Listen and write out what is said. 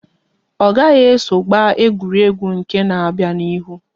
Ọ gaghị eso gba egwuregwu nke n'abia na ihu!